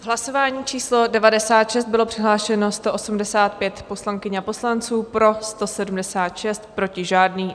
V hlasování číslo 96 bylo přihlášeno 185 poslankyň a poslanců, pro 176, proti žádný.